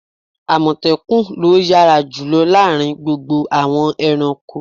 Àmọ̀tẹ́kùn lo yára jùlọ láàárín gbogbo àwọn ẹranko.